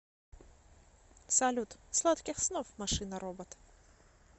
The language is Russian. салют сладких снов машина робот